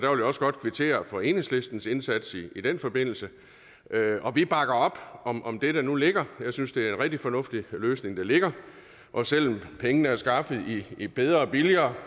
vil godt kvittere for enhedslistens indsats i den forbindelse og vi bakker op om om det der nu ligger jeg synes det er en rigtig fornuftig løsning der ligger og selv om pengene er skaffet i bedre og billigere